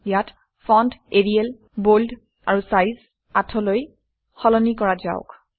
ইয়াত font Arial bold আৰু size ৮ অলৈ সলনি কৰক